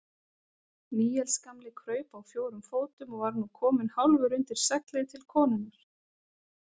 Níels gamli kraup á fjórum fótum og var nú kominn hálfur undir seglið til konunnar.